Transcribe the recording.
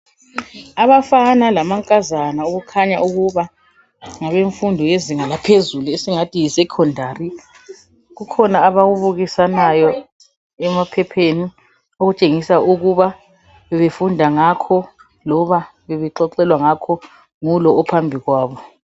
Abafana lamankazana okukhanya ukuba ngabenfundo yezinga laphezulu esingathi Yi secondary. Kukhona abakubukisanayo emaphepheni , Okutshengisa ukuba bebefunda ngakho. Loba bebexoxelwa ngakho ngulo ophambikwabo.